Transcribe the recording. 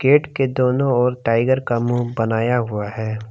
Gate के दोनों ओर टाइगर का मुंह बनाया हुआ है।